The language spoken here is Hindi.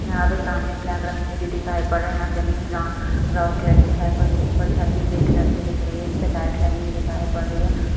यहाँ पे सामने ब्लैक रंग में भी दिखाई पड़ रहा है यहाँ जमीन ब्रा - ब्राउन कलर की दिखाई पड़ रही है उपर छत भी ग्रे कलर की दिख रही है जिसपे लाइट लगी हुई दिखाई पड़ रही है।